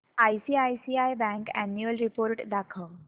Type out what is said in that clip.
ICICI bank annual report दाखव